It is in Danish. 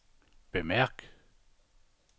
bemærk